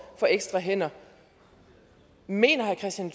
for ekstra hænder mener herre kristian